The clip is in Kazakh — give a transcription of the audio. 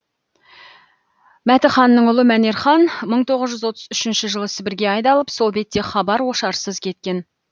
мәтіханның ұлы мәнерхан мың тоғыз жүз отыз үшінші жылы сібірге айдалып сол бетте хабар ошарсыз кеткен